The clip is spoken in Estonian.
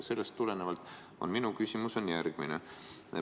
Sellest tulenevalt on minu küsimus järgmine.